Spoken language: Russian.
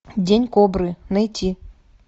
день кобры найти